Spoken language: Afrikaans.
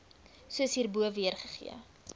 soos hierbo weergegee